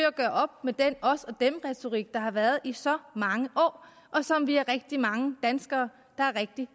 at gøre op med den os og dem retorik der har været her i så mange år og som vi er rigtig mange danskere der er rigtig